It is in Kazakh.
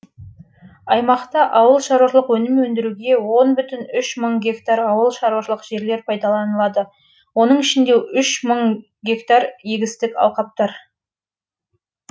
аймақта ауыл шаруашылық өнім өндіруге мың гектар ауыл шаруашылық жерлер пайдаланылады оның ішінде мың га егістік алқаптар